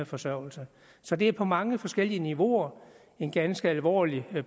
forsørgelse så det er på mange forskellige niveauer en ganske alvorlig